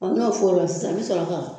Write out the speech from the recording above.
n'o fora sisan, ii bi sɔrɔ ka